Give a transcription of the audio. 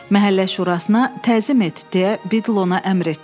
Məhəllə şurasına təzim et, deyə Bitl ona əmr etdi.